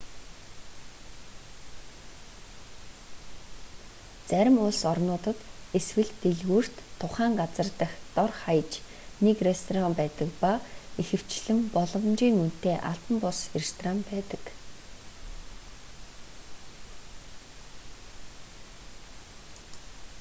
зарим улс орнуудад эсвэл дэлгүүрт тухайн газар дахь дор хаяж нэг ресторан байдаг ба ихэвчлэн боломжиийн үнэтэй албан бус ресторан байдаг